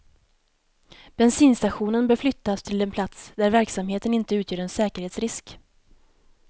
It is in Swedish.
Bensinstationen bör flyttas till en plats där verksamheten inte utgör en säkerhetsrisk.